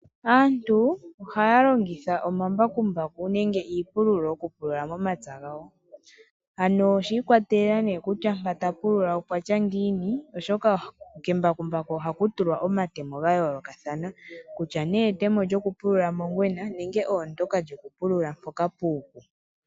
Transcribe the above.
Aantu ohaya longitha omambakumbaku nenge iipululo okupulula momapya gawo, ano shiikwatelela kutya mpa tapulula opwatya ngiini oshoka kembakumbaku ohaku tulwa omatemk gayoolokathana kutya nee etemo lyoku pulula mongwena nenge oondyoka lyoku pulula mpoka puupu.